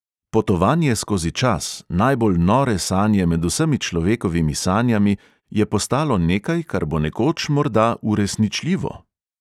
Potovanje skozi čas, najbolj nore sanje med vsemi človekovimi sanjami, je postalo nekaj, kar bo nekoč morda uresničljivo.